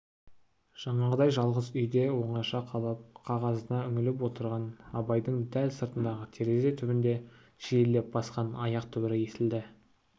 жаңағыдай жалғыз үйде оңаша қалып қағазына үңіліп отырған абайдың дәл сыртындағы терезе түбінде жиілеп басқан аяқ дүбірі естілді